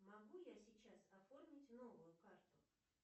могу я сейчас оформить новую карту